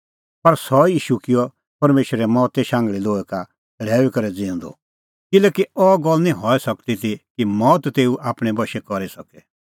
पर सह ई ईशू किअ परमेशरै मौते शांघल़ी लोहै का छ़ड़ैऊई करै ज़िऊंदअ किल्हैकि अह गल्ल निं हई सकदी ती कि मौत तेऊ आपणैं बशै करी सके